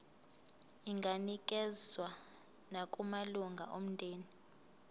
inganikezswa nakumalunga omndeni